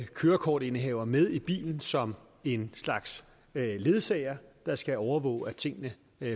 kørekortindehaver med i bilen som en slags ledsager der skal overvåge og tingene